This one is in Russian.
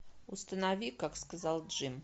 установи как сказал джим